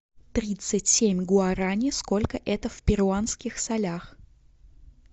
тридцать семь гуарани сколько это в перуанских солях